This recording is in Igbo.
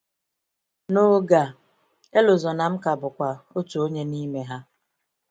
N’oge a, Elozonam ka bụkwa “otu onye n’ime ha.”